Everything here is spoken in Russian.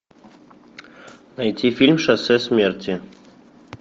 найти фильм шоссе смерти